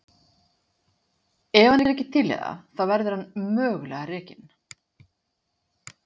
Ef hann er ekki til í það þá verður hann mögulega rekinn.